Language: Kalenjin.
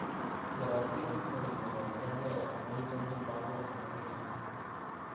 Kerotin ole kipoipoitengee amun chomchin lagok chemengecheen